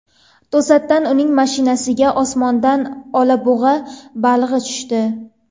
To‘satdan uning mashinasiga osmondan oq olabug‘a balig‘i tushdi.